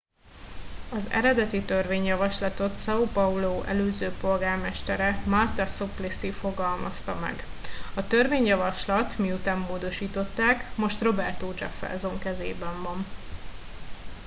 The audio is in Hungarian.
az eredeti törvényjavaslatot são paulo előző polgármestere marta suplicy fogalmazta meg. a törvényjavaslat - miután módosították - most roberto jefferson kezében van